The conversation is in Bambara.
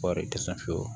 Kɔɔri tɛ se fiyewu